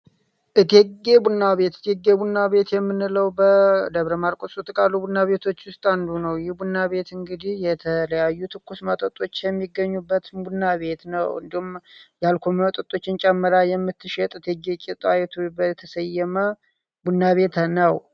እቴጌ ቡና ቤት ቡና ቤት የምንለው በደብረማርቆስ ውስጥ ካሉ ቡና ቤቶች ውስጥ አንዱ ነው። ይህ ቡና ቤት እንግዲህ የተለያዩ ትኩስ መጠጦች የሚገኙበትን ቡና ቤት ነው። እንዲሁም የአልኮል መጠጦችን ጨምራ የምትሸጥ እቴጌ ጣይቱ የተሰየመ ቡና ቤት ነው።